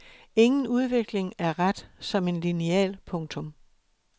Ingen udvikling er ret som en lineal. punktum